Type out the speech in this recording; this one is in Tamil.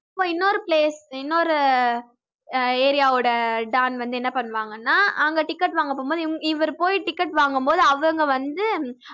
அப்போ அப்போ இன்னொரு place இன்னொரு அஹ் area வோட don வந்து என்ன பண்ணுவாங்கனா அங்க ticket வாங்க போகும்போது இவ~ இவர் போய் ticket வாங்கும்போது அவங்க வந்து